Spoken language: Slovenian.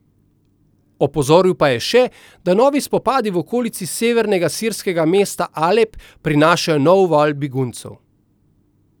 Opozoril pa je še, da novi spopadi v okolici severnega sirskega mesta Alep prinašajo nov val beguncev.